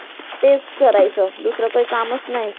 तेच करायचं दुसरं तर काय कामचं नाही.